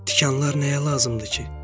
Tikanlar nəyə lazımdı ki?